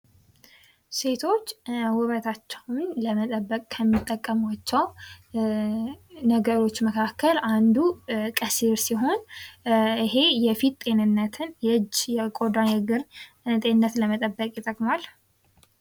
ሴቶች ውበታቸው ለመጠበቅ ከሚጠቀሟቸው ነገሮች መካከል አንዱ ቀሲር ሲሆን ይሄ የፊት ጤንነትን የእጅ ፣ የቆዳ የእግር ጤንነት ለመጠበቅ ይጠቅማል ።